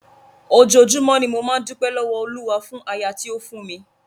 Ojoojúmọ́ ni mo máa ń dúpẹ́ lọ́wọ́ Olúwa fún aya tí ó fún mi.